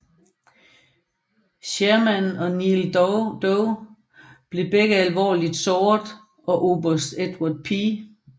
Sherman og Neal Dow blev begge alvorligt såret og oberst Edward P